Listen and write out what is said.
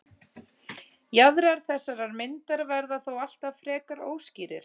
Jaðrar þessarar myndar verða þó alltaf frekar óskýrir.